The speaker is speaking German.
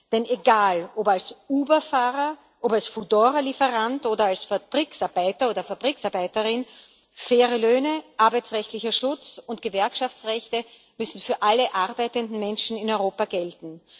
Denn egal, ob als Uber Fahrer, als Foodora Lieferant oder als Fabrikarbeiter oder Fabrikarbeiterin faire Löhne, arbeitsrechtlicher Schutz und Gewerkschaftsrechte müssen für alle arbeitenden Menschen in Europa gelten.